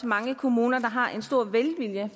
mange kommuner der har en stor velvilje